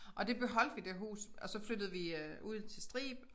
Og det beholdte vi det hus og så flyttede vi øh ud til Strib